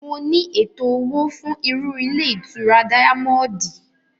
Mo ní ètò òwò fún irú ilé ìtura díámọ́ọ́dì